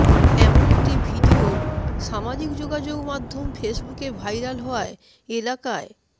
এমন একটি ভিডিও সামাজিক যোগাযোগমাধ্যম ফেসবুকে ভাইরাল হওয়ায় এলাকায়